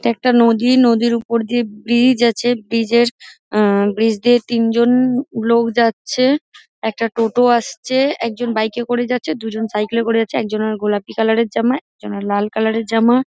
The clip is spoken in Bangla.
একটা নদী নদীর ওপর দিয়ে ব্রিজ আছে ব্রিজ -এর আহ ব্রিজ দিয়ে তিনজন লোক যাচ্ছে একটা টোটো আসছে একজন বাইক -এ করে যাচ্ছে দুজন সাইকেল করে যাচ্ছে একজনের গোলাপী কালার -এর জামা একজনের লাল কালার -এর জামা